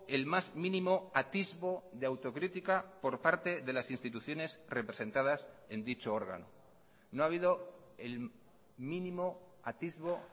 el más mínimo atisbo de autocrítica por parte de las instituciones representadas en dicho órgano no ha habido el mínimo atisbo